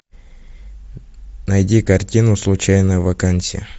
найди картину случайная вакансия